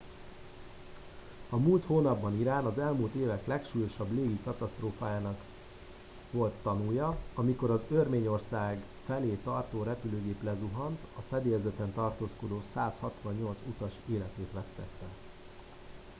a múlt hónapban irán az elmúlt évek legsúlyosabb légi katasztrófájának colt tanúja amikor az örményország felé tartó repülőgép lezuhant a fedélzeten tartózkodó 168 utas életét vesztette